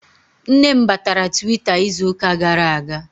Nne m batara Twitter izuka gara aga